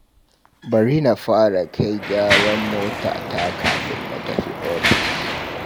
Bari na fara kai gyaran motata kafin na tafi ofis